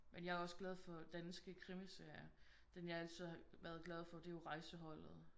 Men jeg er også glad for danske krimiserier. Den jeg altid har været glad for det er jo Rejseholdet